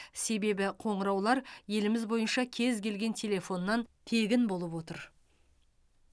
себебі қоңыраулар еліміз бойынша кез келген телефоннан тегін болып отыр